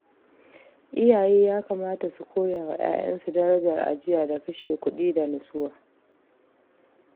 Iyaye ya kamata su koya wa ’ya’yansu darajar ajiya da kashe kuɗi da natsuwa.